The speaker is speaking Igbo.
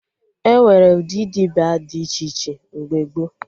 Enwere ụdị dibịa dị iche iche mgbe gboo